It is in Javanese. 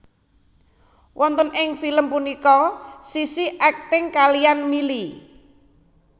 Wonten ing film punika Sissy akting kaliyan Milly